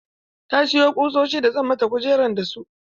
Ta sayo ƙusoshi da zan mata kujer da su.